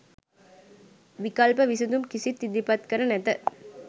විකල්ප විසඳුම් කිසිත් ඉදිරිපත් කර නැත